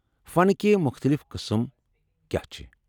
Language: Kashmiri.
فنکہِ مُختلِف قٕسٕم کیٛاہ چھِ؟